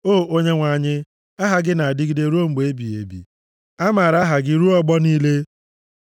O Onyenwe anyị, aha gị na-adịgide ruo mgbe ebighị ebi a maara aha gị ruo ọgbọ niile.